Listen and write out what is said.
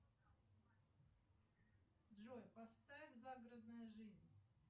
джой поставь загородная жизнь